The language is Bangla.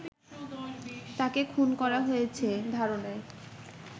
তাকে খুন করা হয়েছে ধারণায়